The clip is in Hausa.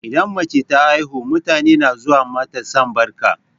Idan mace ta haihu, mutane na zuwa mata sambarka.